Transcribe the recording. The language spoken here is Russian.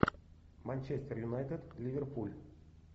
манчестер юнайтед ливерпуль